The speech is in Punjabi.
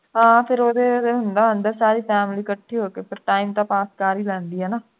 ਹਾਂ ਉਦੋਂ ਫੇਰ ਹੁੰਦਾ ਆਉਂਦੇ ਸਾਰੇ ਹੀ ਸਾਰੀ family ਇਕੱਠੀ ਹੋ ਕੇ ਫਿਰ time ਤੇ ਪਾਸ ਕਰ ਹੀ ਲੈਂਦੀ ਹੈ ਨਾ